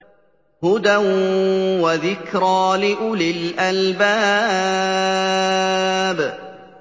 هُدًى وَذِكْرَىٰ لِأُولِي الْأَلْبَابِ